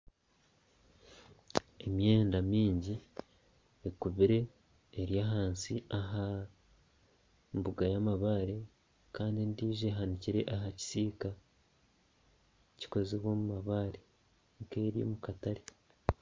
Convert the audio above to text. Emyenda myingi ekubire eri ahansi ahambuga y'amabare Kandi endijo ehanikire ahakisiika kikozirwe omumabare ekaba eri omukatare.